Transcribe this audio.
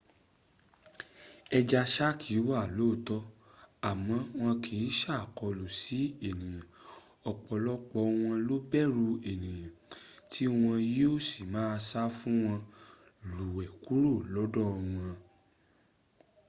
ẹja ṣáàkì wà lóòótọ́ àmọ́ wọn kì í sàkọlù sí ènìyàn ọ̀pọ̀lọpọ̀ wọn ló bẹ̀rú ènìyàn tí wọ́n yíò sì má a sá fún wọn lúwẹ̀ẹ́ kúrò lọ́dọ wọn